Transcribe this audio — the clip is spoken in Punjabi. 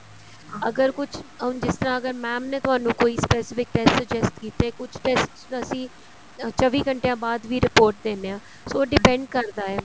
ਅਗਰ ਕੁੱਝ ਜਿਸ ਤਰ੍ਹਾਂ ਅਗਰ mam ਨੇ ਤੁਹਾਨੂੰ ਕੋਈ specific test suggest ਕੀਤੇ ਕੁੱਝ test ਤਾਂ ਅਸੀਂ ਚੋਵੀ ਘੰਟਿਅਨ ਬਾਅਦ ਵੀ report ਦਿੰਨੇ ਆਂ so depend ਕਰਦਾ ਹੈ